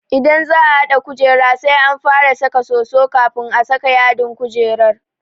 Idan za'a haɗa kujera sai an fara saka soso kafin a saka yadin kujerar.